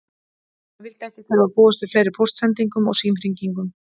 Hann vildi ekki þurfa að búast við fleiri póstsendingum og símhringingum.